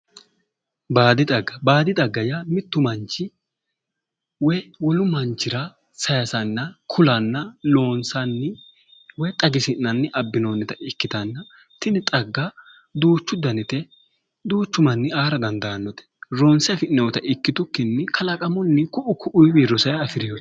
Baadi xagga baadi xagga yaa mittu manchi woy wolu manchira saysanna kulanna loonsanni woyi xagisi'nanni abbinoonnita ikkitanna tini xagga duuchu danite duuchu manni aara dandaannote ronse afi'noyta ikkitukkinni kalaqamunni ku'u ku'uyiwiinni rosayi afireyote